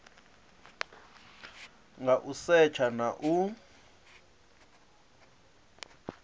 nga u setsha na u